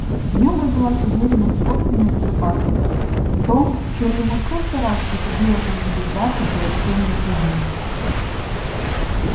в нем родилась уверенность в собственной безопасности в том в чем ему столько раз приходилось разубеждаться при общении с людьми